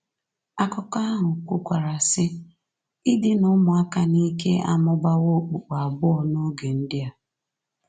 Akụkọ ahụ kwukwara, sị: “Idina ụmụaka n’ike amụbawo okpukpu abụọ n’oge ndị a...”